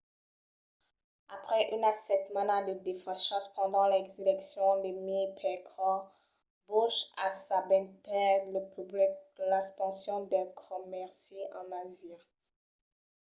après una setmana de desfachas pendent las eleccions de mièg-percors bush assabentèt lo public de l'expansion del comèrci en asia